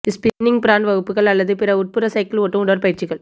spinning brand வகுப்புகள் அல்லது பிற உட்புற சைக்கிள் ஓட்டும் உடற்பயிற்சிகள்